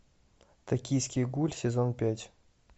токийский гуль сезон пять